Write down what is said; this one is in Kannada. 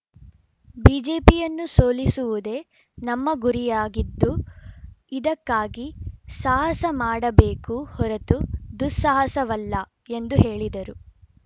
ಬಿಜೆಪಿಯನ್ನು ಸೋಲಿಸುವುದೇ ನಮ್ಮ ಗುರಿಯಾಗಿದ್ದು ಇದಕ್ಕಾಗಿ ಸಾಹಸ ಮಾಡಬೇಕು ಹೊರತು ದುಸ್ಸಾಹಸವಲ್ಲ ಎಂದು ಹೇಳಿದರು